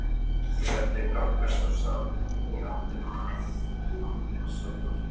Þegar þau ganga svo saman í áttina að Ambassador